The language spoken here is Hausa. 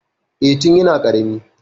Eh, tun yana ƙarami.